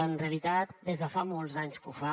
en realitat des de fa molts anys que ho fa